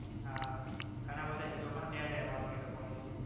હા ઘણા બધા હીરો પણ ત્યાં રહેવાનું એ લોકો ને